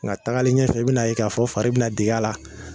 Nga tagalen ɲɛfɛ i bi n' a ye k'a fɔ fari bi na deg'a la